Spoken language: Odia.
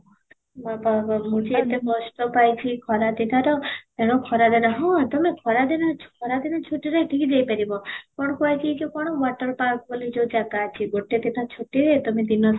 ତମକୁ ମୁଁ ଯେ ଏତେ କଷ୍ଟ ପାଇଛି ଖରା ଦିନର ତେଣୁ ଖରାରେ ହଉ ତୋମେ ଖରା ଦିନ ଖରା ଦିନ ଛୁଟିରେ ଏଥିକି ଯାଇ ପାରିବ କ'ଣ କୁହ ହେଇଛି ଏଇ ଯଉ water park ବୋଲି ଯଉ ଜାଗା ଅଛି ଗୋଟେ ଦିନ ଛୁଟିରେ ତୋମେ ଦିନ